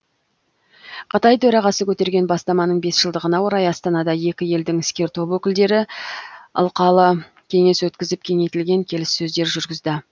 қытай төрағасы көтерген бастаманың бес жылдығына орай астанада екі елдің іскер топ өкілдері алқалы кеңес өткізіп кеңейтілген келіссөздер жүргізді